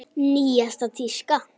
Nýjasta tíska?